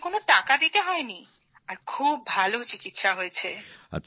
আমাকে কোন টাকা দিতে হয়নি এবং খুব ভাল চিকিৎসা হয়েছে